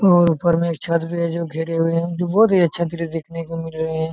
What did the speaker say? और ऊपर मे एक छत्त भी है जो घिरे हुए है बहुत ही अच्छा दृश्य देखने को मिल रहे है।